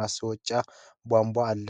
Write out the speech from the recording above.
ማስወጫ ቧንቧ አለ።